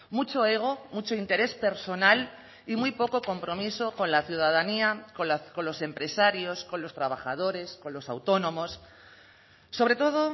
mucho ego mucho interés personal y muy poco compromiso con la ciudadanía con los empresarios con los trabajadores con los autónomos sobre todo